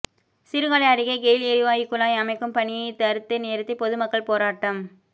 சீர்காழி அருகே கெயில் எரிவாயு குழாய் அமைக்கும் பணியை தடுத்து நிறுத்தி பொதுமக்கள் போராட்டம்